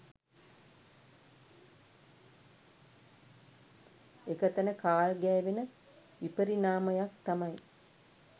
එක තැන කාල් ගෑවෙන විපරිණාමයක් තමයි